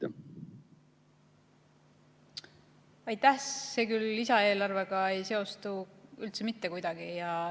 See ei seostu küll lisaeelarvega mitte kuidagi.